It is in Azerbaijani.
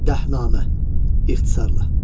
Dəhnamə ixtisarla.